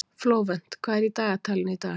Flóvent, hvað er í dagatalinu í dag?